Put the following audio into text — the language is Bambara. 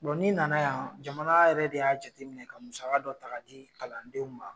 Bɔn ni nana yan jamana yɛrɛ de y'a jateminɛ ka musaka dɔ taga di kalandenw ma